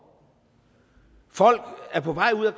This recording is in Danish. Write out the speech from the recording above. folk er på vej ud af